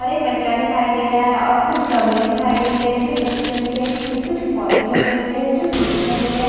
और एक बच्चा दिखाई दे रहा है और कुछ गमले दिखाई दे रहे हैं जो मिट्टी कलर के है जिसमें कुछ पौधे लगे हुए हैं जो ग्रीन कलर के है।